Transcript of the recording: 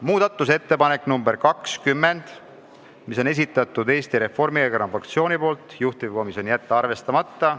Muudatusettepanek nr 20, Eesti Reformierakonna fraktsiooni esitatud, juhtivkomisjon: jätta arvestamata.